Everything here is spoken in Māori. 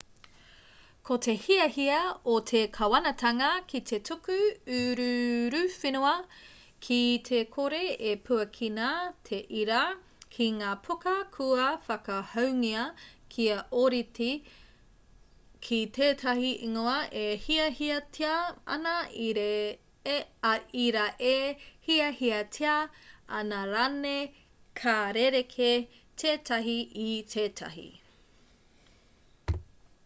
ko te hiahia o te kāwanatanga ki te tuku uruuruwhenua ki te kore e puakina te ira x ki ngā puka kua whakahoungia kia ōrite ki tētahi ingoa e hiahiatia ana ira e hiahiatia ana rāne ka rerekē tētahi i tētahi